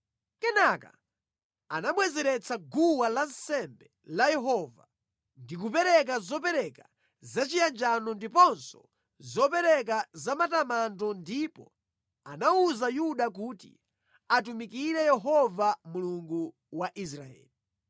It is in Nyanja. Kenaka anabwezeretsa guwa lansembe la Yehova ndi kupereka zopereka zachiyanjano ndiponso zopereka zamatamando ndipo anawuza Yuda kuti atumikire Yehova Mulungu wa Israeli.